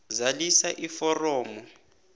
zalisa iforomo a